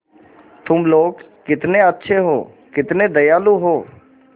तुम लोग कितने अच्छे हो कितने दयालु हो